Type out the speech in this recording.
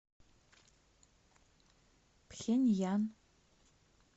пхеньян